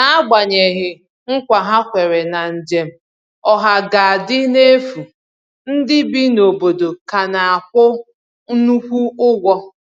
N'agbanyeghị nkwa ha kwèrè na njem ọha ga-adị n’efu, ndị bi n’obodo ka na-akwụ nnukwu ụgwọ